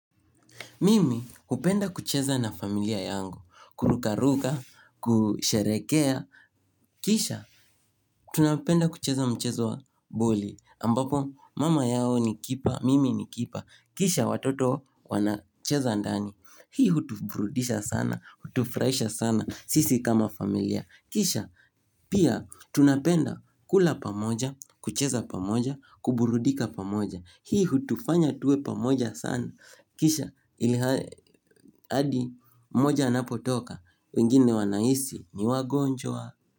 Mimi hupenda kucheza na familia yangu, kurukaruka, ku sherekea, kisha tunapenda kucheza mchezo wa boli, ambapo, mama yao ni kipa, mimi ni kipa, kisha watoto wana cheza ndani. Hii hutuburudisha sana, hutufuraisha sana, sisi kama familia, kisha pia tunapenda kula pamoja, kucheza pamoja, kuburudika pamoja. Hii hutufanya tuwe pamoja sana, kisha, ilha hadi mmoja anapotoka, wengine wanahisi ni wagonjwa.